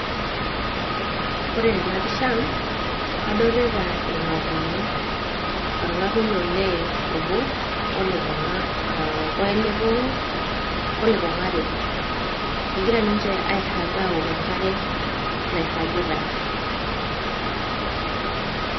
koree tena pishaa kadolita irngatunyoo, orngatuny olee obo oo lepungaa are kegira ninche airaag awok enkare nairagita